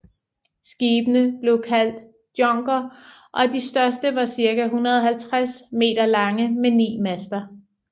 Skibene blev kaldt djonker og de største var cirka 150 m lange med ni master